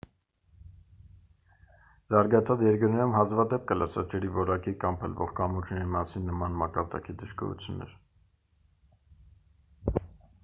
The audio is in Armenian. զարգացած երկրներում հազվադեպ կլսես ջրի որակի կամ փլվող կամուրջների մասին նման մակարդակի դժգոհություններ